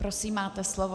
Prosím, máte slovo.